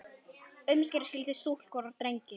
Umskera skyldi stúlkur og drengi.